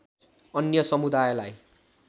अन्य समुदायलाई